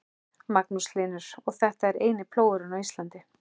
Magnús Hlynur: Og þetta er eini plógurinn á Íslandi?